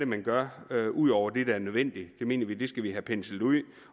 man gør ud over det der er nødvendigt det mener vi at vi skal have penslet ud